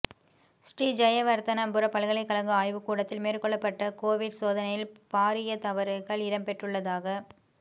ஸ்ரீ ஜயவர்த்தனபுர பல்கலைகழக ஆய்வு கூடத்தில் மேற்கொள்ளப்பட்ட கொவிட் சோதனைகளில் பாரிய தவறுகள் இடம்பெற்றுள்ளதாக